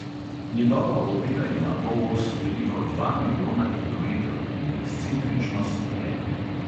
Njegova orbita ima polos, veliko dva milijona kilometrov, in ekscentričnost ena.